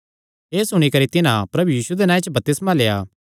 एह़ सुणी करी तिन्हां प्रभु यीशुये दे नांऐ च बपतिस्मा लेआ